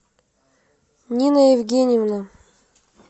нина евгеньевна